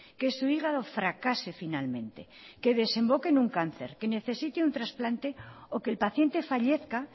que su hígado fracase finalmente que desemboquen un cáncer que necesite un transplante o que el paciente fallezca